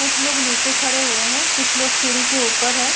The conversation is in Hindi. कुछ लोग नीचे खड़े हुए हैं। कुछ लोग सीढ़ी के ऊपर हैं।